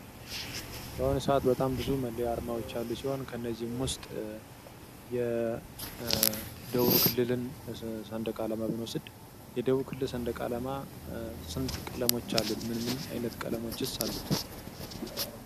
በአሁኑ ሰአት በጣም ብዙ መለያ አርማወች ያሉ ሲሆን ከአነዚህም ውስጥ የደቡብ ክልልን ሰንደቅ አላማ ብንወስድ የደቡብ ክልል ደንደቅ አላማ ስንት ቀለሞች አሉት? ምን ምን አይነት ቀለሞችስ አሉት?